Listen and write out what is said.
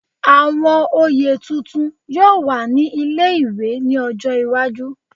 Àwọn oyè tuntun yóò wà ní ilé-ìwé ní ọjọ́ iwájú